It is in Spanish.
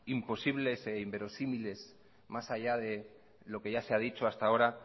imposibles e inverosímiles más allá de lo que ya se ha dicho hasta ahora